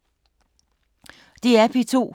DR P2